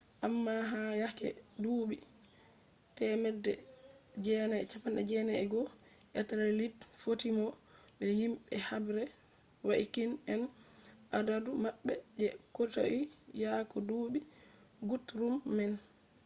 amma ha yake duuɓi 991 etelred fotti no be himɓe habre vaikins en adadu maɓɓe je kotoi yake duuɓi gutrum man